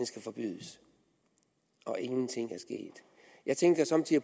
skal forbydes og ingenting er sket jeg tænker somme tider